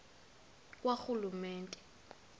karhulumente